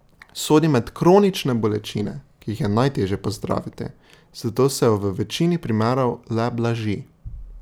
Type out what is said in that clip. Sodi med kronične bolečine, ki jih je najtežje pozdraviti, zato se jo v večini primerov le blaži.